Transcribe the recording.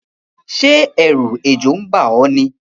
Sé èrù ejò n ba ó ní?